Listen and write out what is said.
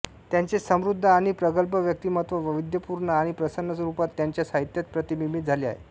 त्यांचे समृद्ध आणि प्रगल्भ व्यक्तिमत्त्व वैविध्यपूर्ण आणि प्रसन्न रूपात त्यांच्या साहित्यात प्रतिबिंबित झाले आहे